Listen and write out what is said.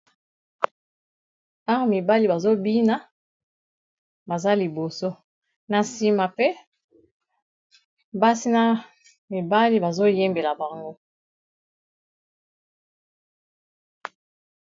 Awa mibali bazobina baza liboso na nsima pe basina mibali bazoyembela bango.